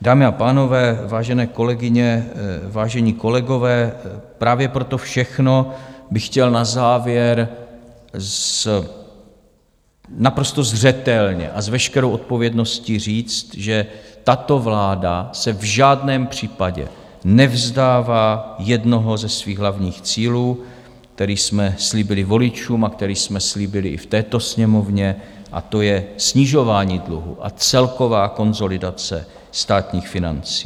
Dámy a pánové, vážené kolegyně, vážení kolegové, právě pro to všechno bych chtěl na závěr naprosto zřetelně a s veškerou odpovědností říct, že tato vláda se v žádném případě nevzdává jednoho ze svých hlavních cílů, který jsme slíbili voličům a který jsme slíbili i v této Sněmovně, a to je snižování dluhu a celková konsolidace státních financí.